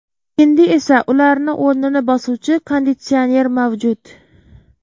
Endi esa ularni o‘rnini bosuvchi konditsioner mavjud.